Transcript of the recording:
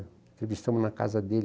Entrevistamos na casa dele.